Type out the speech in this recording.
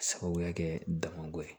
Sababuya kɛ damako ye